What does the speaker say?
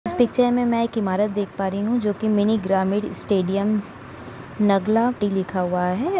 इस पिक्चर में मैं एक इमारत देख पा रही हूँ जोकि मिनी ग्रामीण स्टेडियम नगला टी लिखा हुआ है।